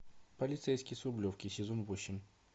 полицейский с рублевки сезон восемь